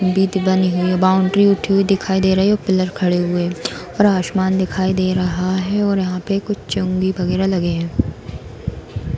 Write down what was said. बित बनी हुई है बाउंड्री उठी हुई दिखाई दे रही है और पिलर खड़े हुए और आसमान दिखाई दे रहा है और यहाँ पे कुछ चूँगी वगेरा लगे हैं |